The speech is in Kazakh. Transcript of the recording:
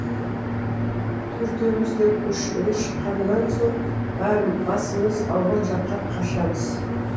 төртеуіміз де көшеге шыққаннан соң бәрі басымыз ауған жаққа қашамыз